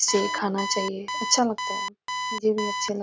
इसे खाना चाहिए अच्छा लगता है। मुझे भी अच्छा लग --